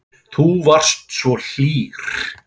Þú varst svo hlýr.